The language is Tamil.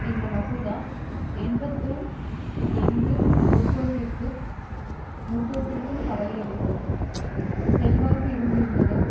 இந்த மசோதா எண்பத்துல் எங்கு முர்டோக்கிற்குக் கவலையளிக்கும் செல்வாக்கு இருந்திருந்ததோ